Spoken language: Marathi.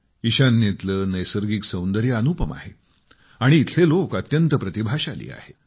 ईशान्येतले नैसर्गिक सौंदर्य अनुपम आहे आणि इथले लोक अत्यंत प्रतिभाशाली आहेत